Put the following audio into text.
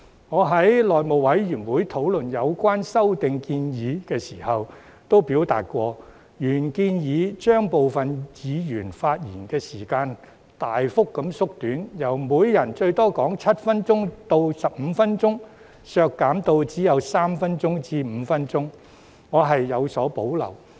我在內務委員會討論有關修訂建議時曾表示，原建議把部分議案的發言時限大幅縮短，由每人最多發言7分鐘至15分鐘，削減至只有3分鐘至5分鐘，我對此有所保留。